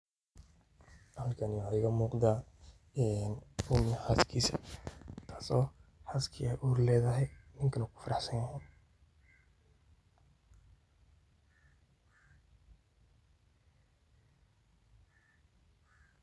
Halkani waxa igamugda een nin iyo xalkisa oo xaska ay ur ledaxay, ninka u gufarahsanyaxay.